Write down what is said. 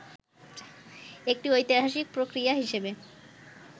একটি ঐতিহাসিক প্রক্রিয়া হিসেবে